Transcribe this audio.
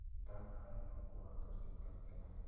धन आयनों को आकर्षित करते हैं